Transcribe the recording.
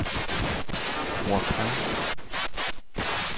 Boracay